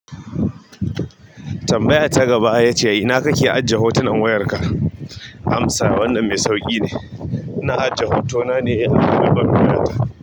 Tambaya ta gaba yace, "ina kake ajiye hotunan wayarka?" Amsa, "Wannan mai sauƙi ne. Ina ajiye hotona ne a album ɗina."